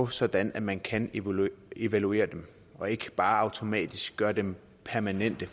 sådan at man kan evaluere dem og ikke bare automatisk gøre dem permanente